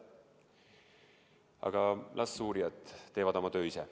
Aga las uurijad teevad oma tööd.